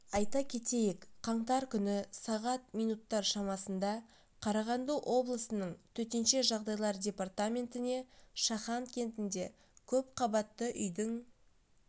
айта кетейік қаңтар күні сағат минуттар шамасында қарағанды облысының төтенше жағдайлар департаментіне шахан кентінде көпқабатты үйдің